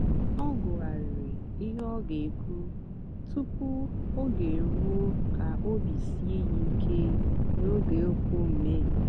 ọ gụ̀ghàrị̀rị́ ihe ọ ga-èkwú tupu ógè èrùó kà óbì síè ya ìké n'ógè okwu mmèghé.